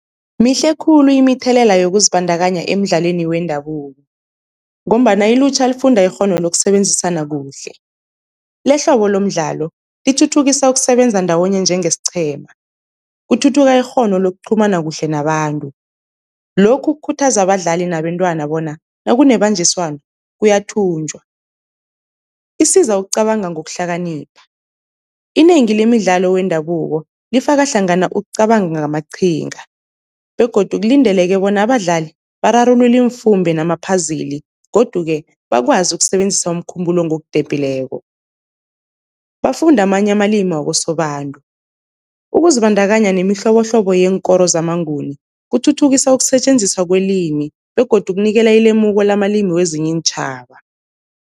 Mihle khulu imithelela yokuzibandakanya emidlalweni wendabuko, ngombana ilutjha lifunda ikghono lokusebenzisana kuhle lehlobo lomdlalo lithuthukisa ukusebenza ndawonye njengesiqhema, kuthuthuka ikghono lokuqhumana kuhle nabantu, lokhu kukhuthaza abadlali nabentwana bona nakunebanjiswano kuyathunjwa. Isiza ukucabanga ngokuhlakanipha, inengi lemidlalo wendabuko lifaka hlangana ukucabanga ngamaqhinga begodu kulindeleke bona abadlali bararulule imfumbe nama-puzzle. Godu-ke bakwazi ukusebenzisa umkhumbulo ngokudephileko. Bafunde amanye amalimi wakosobantu, ukuzibandakanya nemihlobohlobo yeenkoro zamaNguni kuthuthukisa ukusetjenziswa kwelimi begodu kunikela ilemuko lamalimi wezinye iintjhaba.